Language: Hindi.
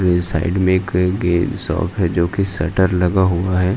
ये साइड में एक शॉप है ज्योकि शटर लगा हुआ ह।